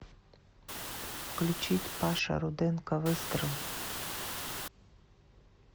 включить паша руденко выстрел